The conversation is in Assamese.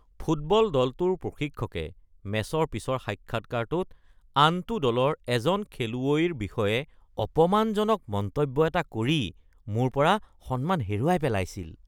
ফুটবল দলটোৰ প্ৰশিক্ষকে মেচৰ পিছৰ সাক্ষাৎকাৰটোত আনটো দলৰ এজন খেলুৱৈৰ বিষয়ে অপমানজনক মন্তব্য এটা কৰি মোৰ পৰা সন্মান হেৰুৱাই পেলাইছিল।